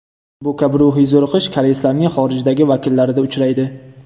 Bu kabi ruhiy zo‘riqish koreyslarning xorijdagi vakillarida uchraydi.